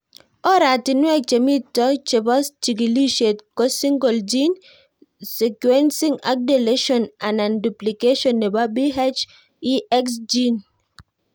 Oratinwek chemito chepo chig'lishet ko Single gene sequencing ak deletion anan duplication nepo PHEX gene